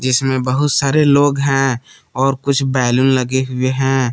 इसमें बहुत सारे लोग हैं और कुछ बैलून लगे हुए हैं।